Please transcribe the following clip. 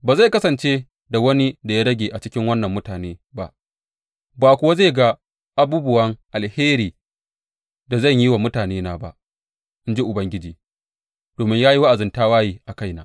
Ba zai kasance da wani da ya rage a cikin wannan mutane ba, ba kuwa zai ga abubuwa alherin da zan yi wa mutanena ba, in ji Ubangiji, domin ya yi wa’azin tawaye a kaina.